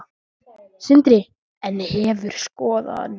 Sindri: En hefur skoðanir?